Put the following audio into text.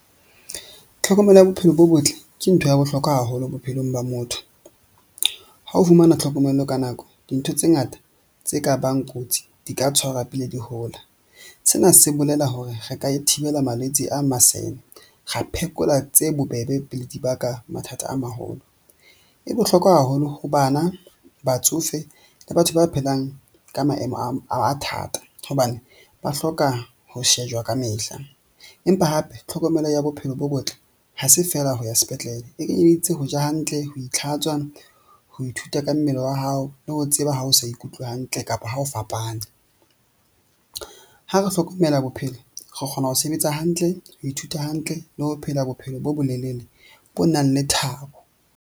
Tlhokomelo ya bophelo bo botle ke ntho ya bohlokwa haholo bophelong ba motho. Ha o fumana tlhokomelo ka nako. Dintho tse ngata tse ka bang kotsi di ka tshwarwa pele di hola. Sena se bolela hore re ka e thibela malwetse a masene, ra phekola tse bobebe pele di baka mathata a maholo. E bohlokwa haholo ho bana, batsofe, le batho ba phelang ka maemo a thata hobane ba hloka ho shejwa kamehla. Empa hape tlhokomelo ya bophelo bo botle ha se feela ho ya sepetlele. E kenyeleditse ho ja hantle ho ntlhatswa, ho ithuta ka mmele wa hao le ho tseba ha o sa ikutlwe hantle kapa ha o fapana. Ha re hlokomela bophelo, re kgona ho sebetsa hantle ho ithuta hantle le ho phela bophelo bo bo lelele, bo nang le thabo.